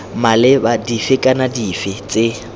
maleba dife kana dife tse